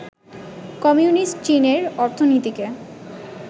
communist চীনের অর্থনীতিকে